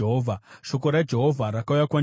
Shoko raJehovha rakauya kwandiri richiti,